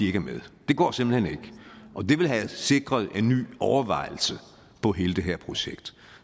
er med det går simpelt hen ikke og det ville have sikret en ny overvejelse om hele det her projekt